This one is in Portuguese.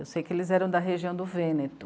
Eu sei que eles eram da região do Vêneto.